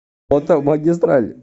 фото магистраль